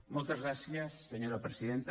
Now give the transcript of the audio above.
moltes gràcies senyora presidenta